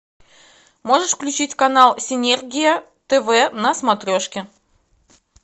можешь включить канал синергия тв на смотрешке